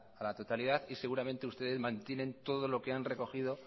a la totalidad y seguramente ustedes mantienen todo lo que han recogido